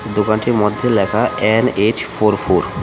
দোকানটির মধ্যে লেখা এন_এইচ_ ফোর_ফোর .